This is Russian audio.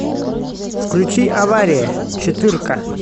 включи авария четырка